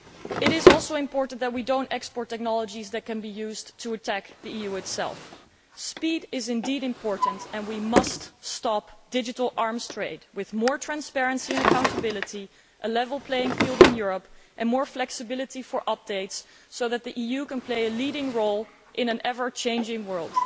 It is also important that we do not export technologies that can be used to attack the EU itself. Speed is indeed important, and we must stop the digital arms trade with more transparency and accountability, a level playing field in Europe and more flexibility for updates, so that the EU can play a leading role in an ever changing world.